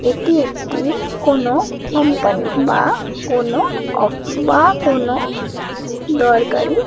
এটি একটি কোন কোম্পানি বা কোনো অফ বা কোনো দরকারই--